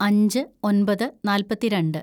അഞ്ച് ഒന്‍പത് നാല്‍പത്തിരണ്ട്‌